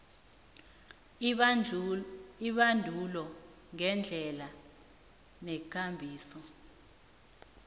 ibandulo ngeendlela neenkambiso